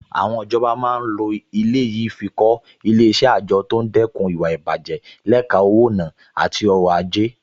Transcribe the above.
Àwọn ìjọba máa lo ilẹ̀ yìí fi kọ́ Ilé-iṣẹ́ àjọ tó ń dẹ́kun ìwà ìbàjẹ́ lẹ́ka owó-ìná àti ọrọ̀-ajé